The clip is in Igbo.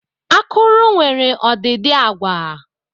Akụrụ nwere ọdịdị agwa.